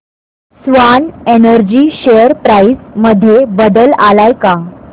Swan Energy share price मध्ये बदल आलाय का